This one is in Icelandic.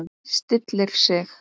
Stillir sig.